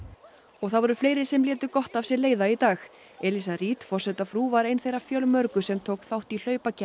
það voru fleiri sem létu gott af sér leiða í dag elíza Reid forsetafrú var ein þeirra fjölmörgu sem tók þátt í